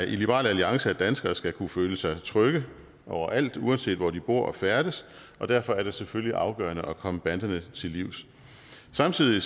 i liberal alliance at danskere skal kunne føle sig trygge overalt uanset hvor de bor og færdes og derfor er det selvfølgelig afgørende at komme banderne til livs samtidig